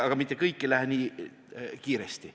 Aga mitte kõik ei lähe nii kiiresti.